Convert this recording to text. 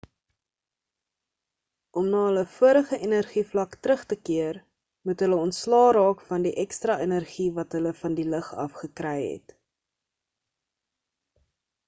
om na hulle vorige energievlak terug te keer moet hulle ontslae raak van die ekstra energie wat hulle van die lig af gekry het